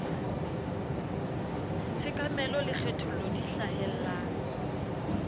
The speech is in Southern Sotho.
tshekamelo le kgethollo di hlahellang